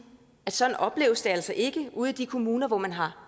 at sådan opleves det altså ikke ude i de kommuner hvor man har